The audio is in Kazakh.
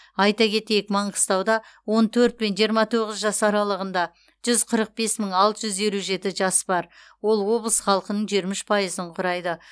айта кетейік маңғыстауда он төрт пен жиырма тоғыз жас аралығында жүз қырық бес мың алты жүз елу жеті жас бар ол облыс халқының жиырма үш пайызын құрайды